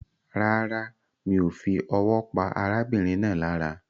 Rárá, mi o fi owó pa arábìnrin náà lára